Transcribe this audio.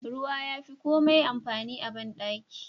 Ruwa yafi komai amfani a bandaki.